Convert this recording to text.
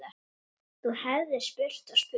Þú hefðir spurt og spurt.